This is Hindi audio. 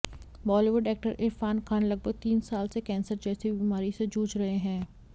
बॉलीवुड एक्टर इरफान खान लगभग तीन साल से कैंसर जैसी बीमारी से जूझ रहे हैं